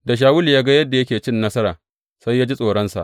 Da Shawulu ya ga yadda yake cin nasara, sai ya ji tsoronsa.